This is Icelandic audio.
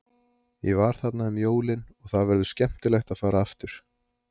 Ég var þarna um jólin og það verður skemmtilegt að fara aftur.